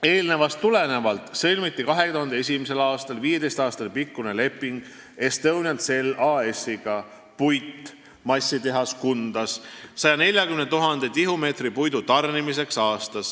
Eelnevast tulenevalt sõlmiti 2001. aastal 15 aasta pikkune leping Estonian Cell AS-iga 140 000 tihumeetri puidu tarnimiseks aastas.